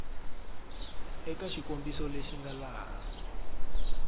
eka xikombiso lexi nga laha